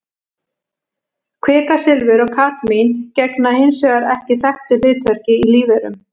Kvikasilfur og kadmín gegna hins vegar ekki þekktu hlutverki í lífverum.